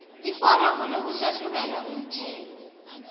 iforomo lokuhlahlubela umthelo